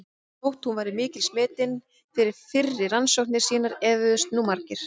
Þótt hún væri mikils metin fyrir fyrri rannsóknir sínar efuðust nú margir.